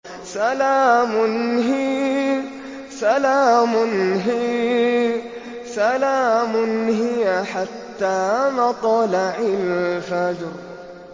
سَلَامٌ هِيَ حَتَّىٰ مَطْلَعِ الْفَجْرِ